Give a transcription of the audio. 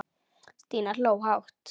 Stína hló hátt.